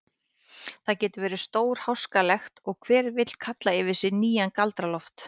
Það getur verið stórháskalegt og hver vill kalla yfir sig nýjan Galdra-Loft.